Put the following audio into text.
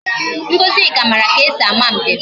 Ngozika mara ka e si ama mbem